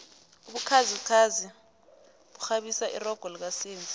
ubukhazikhazi bukghabisa irogo lika senzi